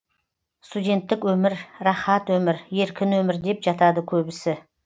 студенттік өмір рахат өмір еркін өмір деп жатады көбісі